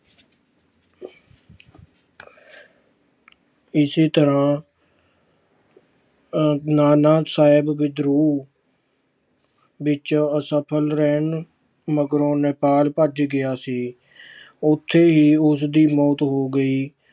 ਇਸੇ ਤਰ੍ਹਾਂ ਨਾਨਾ ਸਾਹਿਬ ਵਿਦਰੋਹ ਵਿਚ ਅਸਫਲ ਰਹਿਣ ਮਗਰੋਂ ਨੇਪਾਲ ਭੱਜ ਗਿਆ ਸੀ। ਉਥੇ ਹੀ ਉਸਦੀ ਮੌਤ ਹੋ ਗਈ।